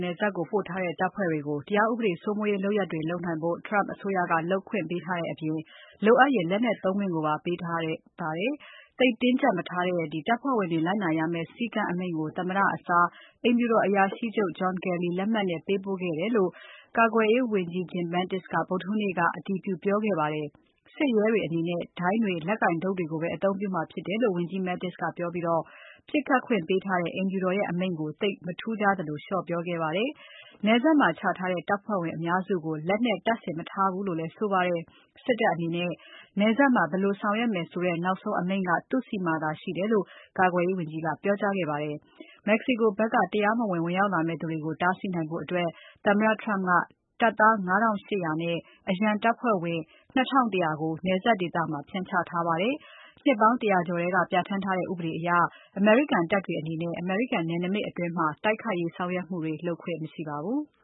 နယ်စပ်ကို ပို့ထားတဲ့တပ်ဖွဲ့တွေကို တရားဥပဒေစိုးမိုးရေးလုပ်ရပ်တွေ လုပ်နိုင်ဖို့ Trump အစိုးရက လုပ်ခွင့်ပေးထားတဲ့အပြင် လိုအပ်ရင် လက်နက်သုံးခွင့်ကိုပါ ပေးထားပါတယ်။ သိပ်တင်းကြပ်မထားတဲ့ တပ်ဖွဲ့ဝင်တွေလိုက်နာရမယ့်စည်းကမ်းအမိန့်ကို သမ္မတအစား အိမ်ဖြူတော်အရာရှိချုပ်လက်မှတ်နဲ့ ပေးပို့ခဲ့တယ်လို့ ကာကွယ်ရေးဝန်ကြီး Jim Mattis ကဗုဒ္ဓဟူးနေ့က အတည်ပြုပြောခဲ့ပါတယ်။ စစ်ရဲတွေအနေနဲ့ ဒိုင်းတွေ လက်ကိုင်တုတ်တွေကိုပဲ အသုံးပြုမှာဖြစ်တယ်လို့ ဝန်ကြီး Mattis ကပြောပြီး ပြစ်ခတ်ခွင့်ပေးထားတဲ့ အိမ်ဖြူတော်ရဲ့အမိန့်ကို သိပ်မထူးခြားသလို လျော့ပြောခဲ့ပါတယ်။ နယ်စပ်မှာချထားတဲ့တပ်ဖွဲ့ဝင်အများစုကို လက်နက်တပ်ဆင် မထားဘူးလို့လည်းဆိုပါတယ်။ စစ်တပ်အနေနဲ့ နယ်စပ်မှာ ဘယ်လိုဆောင်ရွက်မယ်ဆိုတဲ့ နောက်ဆုံးအမိန့်က သူ့ဆီမှာသာရှိတယ်လို့လည်း ကာကွယ်ရေးဝန်ကြီးကပြောပါတယ်။ Mexico ဖက်ကတရားမဝင် ဝင်ရောက်လာမယ့်သူတွေကို တားဆီးနိုင်ဖို့ သမ္မတ Trump ကတပ်သား ၅ ထောင့် ၈ ရာနဲ့ အရန်တပ်ဖွဲ့ဝင် ၂ ထောင့် ၁ ရာကို နယ်စပ်ဒေသမှာ ဖြန့်ချထားပါတယ်။ နှစ်ပေါင်း ၁၀၀ ကျော်ထဲက ပြဌာန်းထားတဲ့ ဥပဒေအရ အမေရိကန်တပ်တွေအနေနဲ့ အမေရိကန်နယ်နိမိတ်အတွင်း တိုက်ခိုက်ရေးဆောင်ရွက်မှုတွေ လုပ်ခွင့်မရှိပါဘူး။